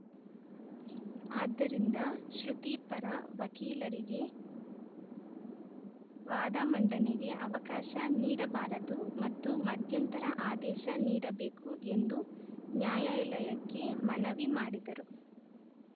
ಆದ್ದರಿಂದ ಶ್ರುತಿ ಪರ ವಕೀಲರಿಗೆ ವಾದ ಮಂಡನೆಗೆ ಅವಕಾಶ ನೀಡಬಾರದು ಮತ್ತು ಮಧ್ಯಂತರ ಆದೇಶ ನೀಡಬೇಕು ಎಂದು ನ್ಯಾಯಾಲಯಕ್ಕೆ ಮನವಿ ಮಾಡಿದರು